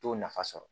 T'o nafa sɔrɔ